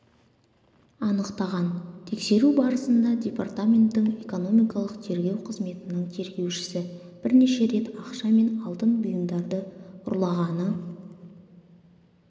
анықтаған тексеру барысында департаменттің экономикалық тергеу қызметінің тергеушісі бірнеше рет ақша мен алтын бұйымдарды ұрлағаны